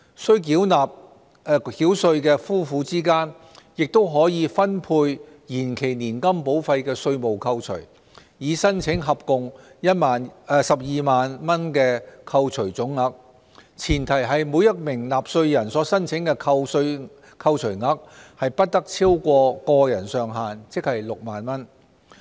須繳稅的夫婦之間亦可分配延期年金保費的稅務扣除，以申請合共12萬元的扣除總額，前提是每名納稅人所申請的扣除額不超過個人上限，即6萬元。